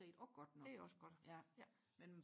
det er også godt ja